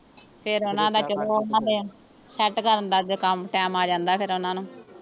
ਫੇਰ ਓਹਨਾਂ ਦਾ ਚਲੋ ਓਹਨਾਂ ਦੇ ਸੈੱਟ ਕਰਨ ਦਾ ਜਾਂ ਕੰਮ ਟਾਈਮ ਆ ਜਾਂਦਾ ਫੇਰ ਓਹਨਾਂ ਨੂੰ